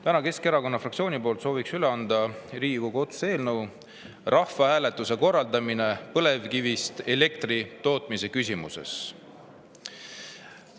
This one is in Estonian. Täna sooviks Keskerakonna fraktsiooni poolt üle anda Riigikogu otsuse "Rahvahääletuse korraldamine põlevkivist elektri tootmise küsimuses" eelnõu.